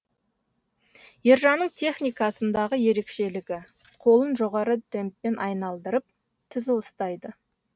ержанның техникасындағы ерекшелігі қолын жоғары темппен айналдырып түзу ұстайды